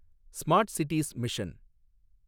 smart cities mission